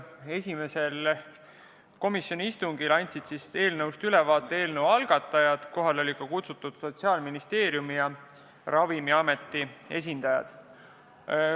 Esimesel komisjoni istungil andsid eelnõust ülevaate selle algatajad, kohale olid kutsutud ka Sotsiaalministeeriumi ja Ravimiameti esindajad.